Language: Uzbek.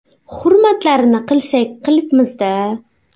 Hurmatlarini qilsak, qilibmiz-da.